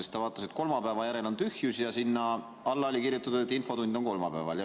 Ta vaatas, et kolmapäeva järel on tühjus ja sinna alla oli kirjutatud, et infotund on kolmapäeval.